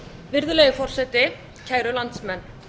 virðulegi forseti kæru landsmenn